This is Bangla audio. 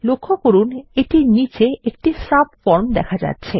লক্ষ্য করুন এটির নীচে একটি সাবফর্ম দেখা যাচ্ছে